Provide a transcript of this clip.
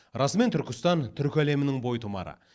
расымен түркістан түркі әлемінің бойтұмары